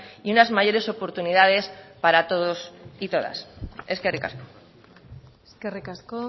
y unas mayores oportunidades para todos y todas eskerrik asko eskerrik asko